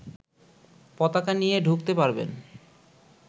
পতাকা নিয়ে ঢুকতে পারবেন